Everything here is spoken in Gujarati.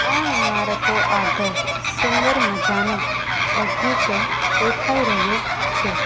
આ ઈમારતો આગળ સુંદર મજાનો બગીચો દેખાય રહ્યું છે.